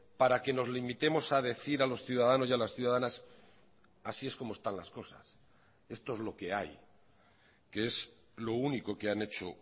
para que nos limitemos a decir a los ciudadanos y a las ciudadanas así es como están las cosas esto es lo que hay que es lo único que han hecho